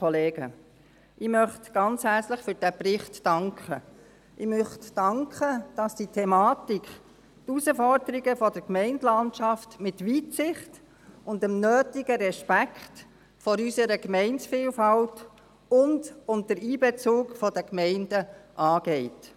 Ich möchte dafür danken, dass man diese Thematik, die Herausforderungen der Gemeindelandschaft mit Weitsicht und dem nötigen Respekt vor unserer Gemeindevielfalt und unter Einbezug der Gemeinden anpackt.